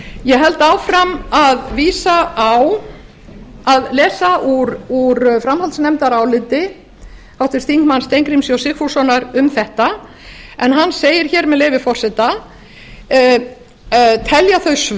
ég held áfram að lesa úr framhaldsnefndaráliti háttvirtur þingmaður steingríms j sigfússonar um þetta en hann segir með leyfi forseta undirritaður telur